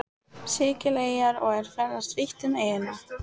Sikileyjar og er ferðast vítt um eyjuna.